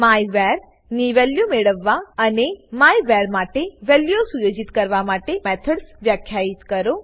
માયવર ની વેલ્યુઓ મેળવવા અને માયવર માટે વેલ્યુઓ સુયોજિત કરવા માટે તમે વાપરી શકો એવા મેથડ્સ વ્યાખ્યિત કરો